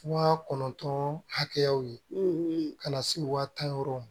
Waa kɔnɔntɔn hakɛyaw ye ka na se waa tan yɔrɔw ma